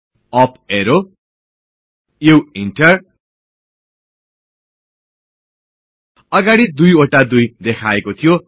up arrow U enter अगाडी दुईवटा २ देखाएको थियो